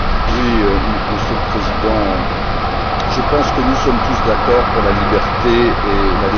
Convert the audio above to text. Monsieur le Président, je pense que nous sommes tous d'accord pour la liberté et la démocratie.